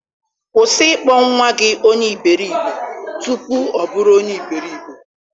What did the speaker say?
Kwụsị ịkpọ nwa gị onye iberibe, tupu ọ oburu onye iberibe.